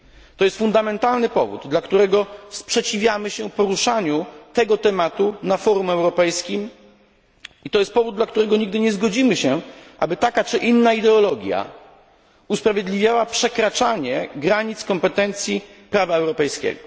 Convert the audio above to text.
To jest fundamentalny powód, dla którego sprzeciwiamy się poruszaniu tego tematu na forum europejskim i to jest powód, dla którego nigdy nie zgodzimy się, aby taka czy inna ideologia usprawiedliwiała przekraczanie granic kompetencji prawa europejskiego.